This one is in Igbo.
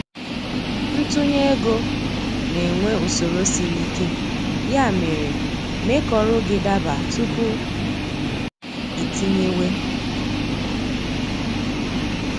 Ntunye ego na-enwe usoro sịrị ike, ya mere, mee ka ọrụ gị daba tupu iitinyewe